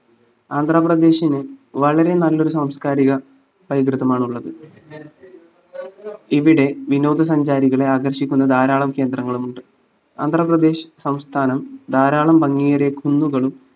ആന്ധ്രാപ്രദേശ്‌ന് വളരെ നല്ലൊരു സാംസ്‌കാരിക പൈതൃകമാണുള്ളത് ഇവിടെ വിനോദസഞ്ചാരികളെ ആകർഷിക്കുന്ന ധാരാളം കേന്ദ്രങ്ങളുമുണ്ട് ആന്ധ്രാപ്രദേശ്‌ സംസ്ഥാനം ധാരാളം ഭംഗിയേറിയ കുന്നുകളും